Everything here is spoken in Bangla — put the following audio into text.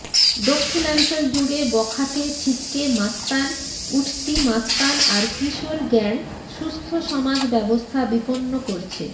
দক্ষিণাঞ্চল জুড়ে বখাটে ছিচকে মাস্তান উঠতি মাস্তান আর কিশোর গ্যাং সুস্থ্য সমাজ ব্যবস্থা বিপন্ন করছে